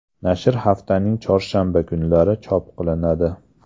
Nashr haftaning chorshanba kunlari chop qilinadi.